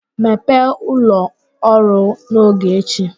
Mepee ụlọ ọrụ n'oge echi!